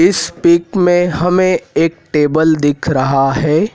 इस पिक में हमें एक टेबल दिख रहा है।